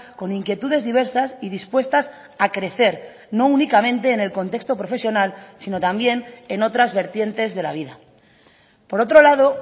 con inquietudes diversas y dispuestas a crecer no únicamente en el contexto profesional sino también en otras vertientes de la vida por otro lado